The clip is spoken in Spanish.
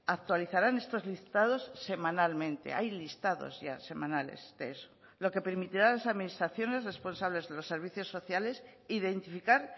actualizarán estos listados semanalmente hay listados ya semanales de lo que permitirá a las administraciones responsables de los servicios sociales identificar